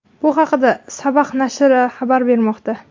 Bu haqda Sabah nashri xabar bermoqda .